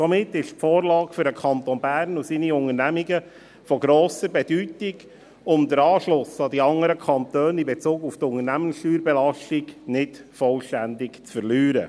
Somit ist die Vorlage für den Kanton Bern und seine Unternehmen von grosser Bedeutung, um den Anschluss an die anderen Kantone in Bezug auf die Unternehmenssteuerbelastung nicht vollständig zu verlieren.